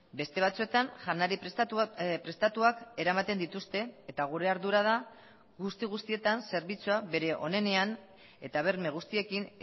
beste batzuetan janari prestatuak eramaten dituzte eta gure ardura da guzti guztietan zerbitzua bere onenean eta berme guztiekin